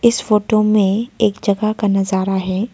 इस फोटो में एक जगह का नजारा है।